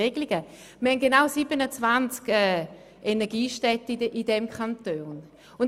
Der Kanton weist genau 27 Energiestädte auf.